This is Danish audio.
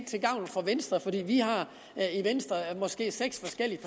til gavn for venstre fordi venstre måske har seks forskellige